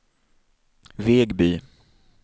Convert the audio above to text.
Vegby